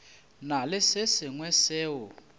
na le se sengwe seo